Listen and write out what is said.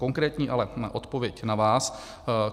Konkrétní ale odpověď na vás.